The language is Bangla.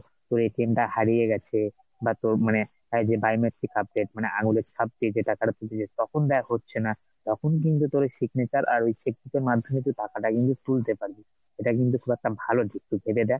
তোর টা হারিয়ে গেছে, না তোর মানে যে biometric update মানে আঙুলের ছাপ দিয়ে যেটা তারা বুঝে যায় তখন দেখ হচ্ছেনা তখন কিন্তু তোর ওই signature আর ওই এর মাধ্যমে তুই টাকাটা কিন্তু তুলতে পারবি এইটা কিন্তু খুব একটা ভালো দিক তুই ভেবে দেখ,